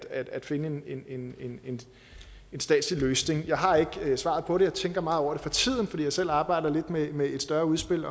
at finde en en statslig løsning jeg har ikke svaret på det jeg tænker meget over det for tiden fordi jeg selv arbejder lidt med med et større udspil